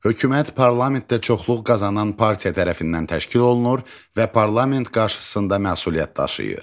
Hökumət parlamentdə çoxluq qazanan partiya tərəfindən təşkil olunur və parlament qarşısında məsuliyyət daşıyır.